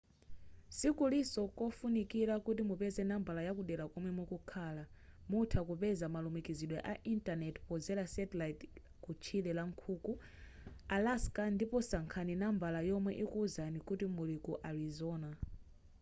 sikuliso kofunikira kuti mupeze nambala yakudera komwe mukukhala mutha kupeza malumikizidwe a intaneti pozera satellite ku tchire la nkhuku alaska ndipo sankhani nambala yomwe ikukuwuzani kuti muli ku arizona